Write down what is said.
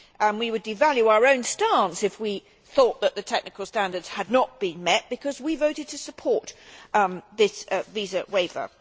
We would devalue our own stance if we thought that the technical standards had not been met, because we voted to support that visa waiver.